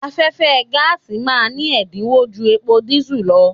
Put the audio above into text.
Afẹ́fẹ́ gáàsì ma ní ẹ̀dínwó ju epo dísù lọ.